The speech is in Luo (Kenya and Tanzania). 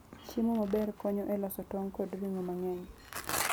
Chiemo maber konyo e loso tong' kod ring'o mang'eny.